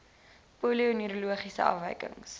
polio neurologiese afwykings